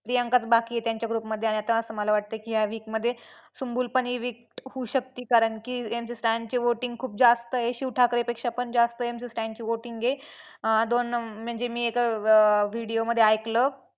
प्रियांकाचं बाकी आहे त्यांच्या group मध्ये आणि आता असं वाटतंय की या week मध्ये सुम्बूलपण ही week होऊ शकते कारण की MC. Stan चे voting खूप जास्त आहे. शिव ठाकरेपेक्षा पण जास्त MC. Stan ची voting आहे. अं दोन म्हणजे मी एका video मध्ये ऐकलं.